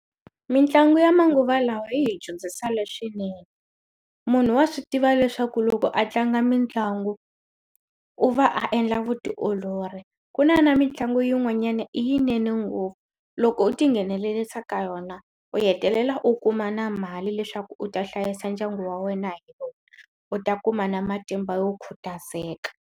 Mitlangu ya manguva lawa yi hi dyondzisa leswinene munhu wa swi tiva leswaku loko a tlanga mitlangu u va a endla vutiolori ku na na mitlangu yin'wanyana i yinene ngopfu loko u tinghenelerisa ka yona u hetelela u kuma na mali leswaku u ta hlayisa ndyangu wa wena hi u ta kuma na matimba yo khutazeka.